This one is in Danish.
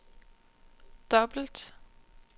dobbelt